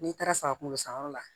N'i taara saga kunkolo sanyɔrɔ la